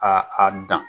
A a dan